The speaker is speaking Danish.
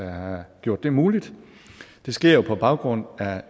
at have gjort det muligt det sker jo på baggrund af